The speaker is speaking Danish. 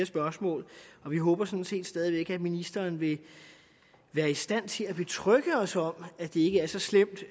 spørgsmål og vi håber sådan set stadig væk at ministeren vil være i stand til at betrygge os om at det ikke er så slemt